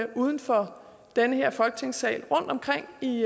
uden for den her folketingssal rundtomkring i